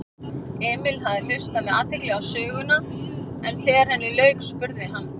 Emil hafði hlustað með athygli á söguna en þegar henni lauk spurði hann